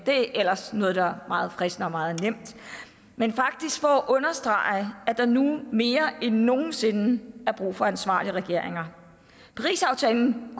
noget der ellers er meget fristende og meget nemt men faktisk for at understrege at der nu mere end nogen sinde er brug for ansvarlige regeringer parisaftalen